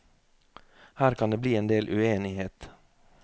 Her kan det bli en del uenighet.